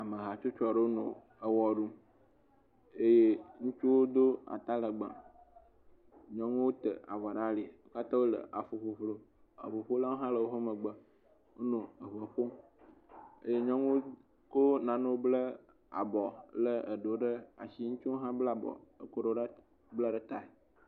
Amehatsotso aɖewo nɔ ewɔ ɖum eye ŋutsuwo do atalegbe. Nyɔnuwo te avɔ ɖe ali heto le aƒuƒuƒlu. Emeɖewo nɔ anyi ɖe ŋukukua ɖe me. Eŋuƒolawo hã le woƒe megbe nɔ ŋu ƒom eye nyɔnuwo konano ble abɔ ko nanewo bla abɔ ble eɖewo ɖe asi. Ŋutsuwo hã bla ble ɖewo ɖe tae.